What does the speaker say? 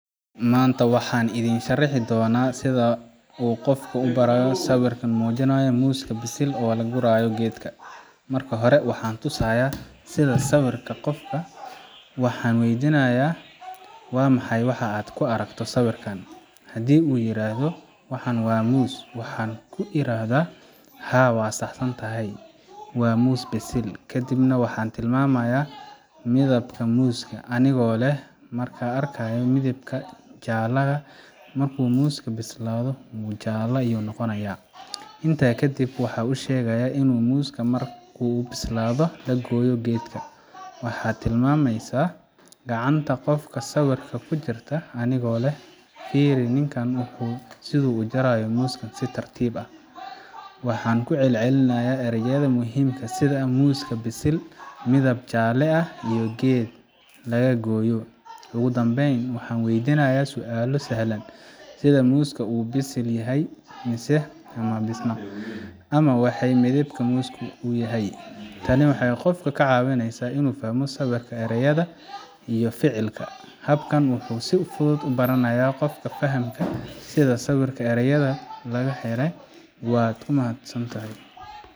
Maanta waxaan idiin sharxi doonaa sida qof loo baro sawirka muujinaya muus bisil oo laga gurayo geed. Marka hore, waxaan tusayaa sawirka qofka. Waxaan weydiinayaa: 'Waa maxay waxa aad ku aragto sawirkan?' Haddii uu yiraahdo, 'Waxaan arkaa muus', waxaan ku iraahdaa, 'Haa, waa sax santahay. Waa muus bisil.' Kadib waxaan tilmaamayaa midabka muuska, anigoo leh, 'Maxa arkaysaa midabka jaalaha ah Markuu muusku bislaado, wuu jaalaa ayuu noqonayaa.' Intaa ka dib, waxaan u sheegaa in muusku marka uu bislaado laga gooyo geedka. Waxaan tilmaamasyaa gacanta qofka sawirka ku jira, anigoo leh, 'Fiiri, ninkani wuxuu jarayaa muuska si tartiib ah.' Waxaan ku celcelinayaa ereyada muhiimka ah sida: muuska, bisil, midab jaalle ah, iyo geed laga gooyo. Ugu dambayn, waxaan weydiinayaa su’aalo sahlan sida: 'Muusku wuu bisil yahay mise ma bisla?' Ama, 'Waa maxay midabka muuska?' Tani waxay qofka ka caawisaa inuu fahmo sawirka, erayada, iyo ficilka.